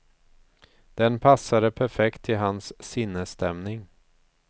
Den passade perfekt till hans sinnesstämning.